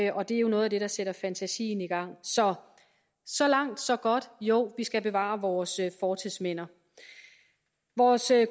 og det er jo noget der sætter fantasien i gang så så langt så godt jo vi skal bevare vores fortidsminder vores